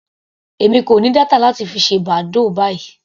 Èmi kò ní data láti fi ṣe badoo báyìí.